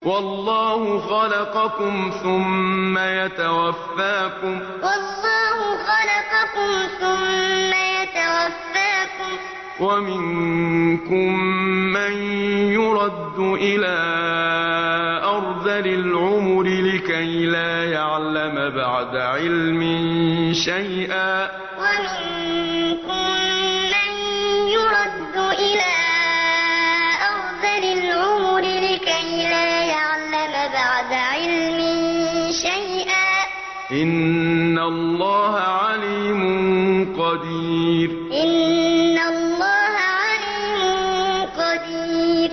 وَاللَّهُ خَلَقَكُمْ ثُمَّ يَتَوَفَّاكُمْ ۚ وَمِنكُم مَّن يُرَدُّ إِلَىٰ أَرْذَلِ الْعُمُرِ لِكَيْ لَا يَعْلَمَ بَعْدَ عِلْمٍ شَيْئًا ۚ إِنَّ اللَّهَ عَلِيمٌ قَدِيرٌ وَاللَّهُ خَلَقَكُمْ ثُمَّ يَتَوَفَّاكُمْ ۚ وَمِنكُم مَّن يُرَدُّ إِلَىٰ أَرْذَلِ الْعُمُرِ لِكَيْ لَا يَعْلَمَ بَعْدَ عِلْمٍ شَيْئًا ۚ إِنَّ اللَّهَ عَلِيمٌ قَدِيرٌ